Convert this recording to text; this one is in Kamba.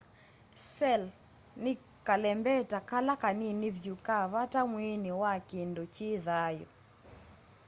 cell' ni kalembeta kala kanini vyu ka vata mwiini wa kindu ki thayu